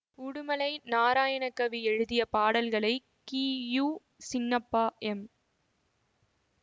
உடுமலை நாராயணகவி எழுதிய பாடல்களை கி யு சின்னப்பா எம்